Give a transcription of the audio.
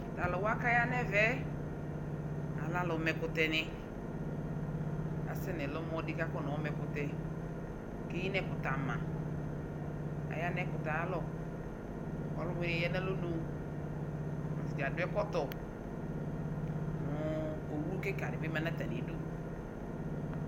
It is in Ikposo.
Atalʋwa kaya nevɛ alɛ alʋmɛkʋtɛni Asɛ nʋ ɛlʋmɔ di kʋ akɔnayɔ ma ɛkʋtɛ, eyinʋ ɛkʋtɛ ama Ayanʋ ɛkʋtɛ y'alɔ Ɔlʋwini yɛ nʋ alɔnu Atadza adʋ ɛkɔtɔ kʋ owu kika di ma nʋ atami du